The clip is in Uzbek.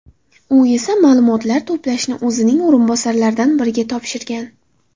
U esa ma’lumotlar to‘plashni o‘zining o‘rinbosarlaridan biriga topshirgan.